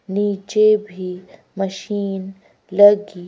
नीचे भी मशीन लगी--